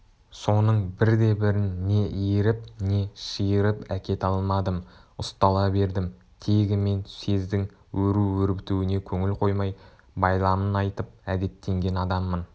соның бірде-бірін не иіріп не шиырып әкете алмадым ұстала бердім тегі мен сездің өру-өрбітуіне көңіл қоймай байламын айтып әдеттенген адаммын